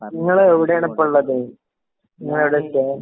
നിങ്ങള് എവിടെയാണ് ഇപ്പൊ ഉള്ളത്? നിങ്ങള് എവിടെയാ ഇപ്പൊ